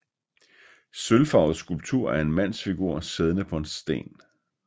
Sølvfarvet skulptur af en mandsfigur siddende på en sten